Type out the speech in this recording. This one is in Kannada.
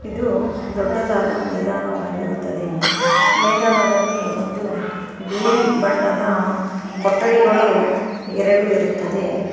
ಇದು ದೊಡ್ಡದಾದ ಮೈದಾನವಾಗಿರುತ್ತದೆ ಮೈದಾನದಲ್ಲಿ ಒಂದು ಬಿಳಿ ಬಣ್ಣದ ಕೊಠಡಿಗಳು ಎರಡು ಇರುತ್ತದೆ.